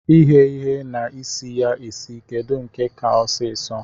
Ighe ihe na isi ya esi kedu nke ka ọsisọ?